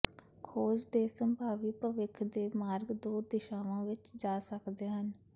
ਖੋਜ ਦੇ ਸੰਭਾਵੀ ਭਵਿੱਖ ਦੇ ਮਾਰਗ ਦੋ ਦਿਸ਼ਾਵਾਂ ਵਿਚ ਜਾ ਸਕਦੇ ਹਨ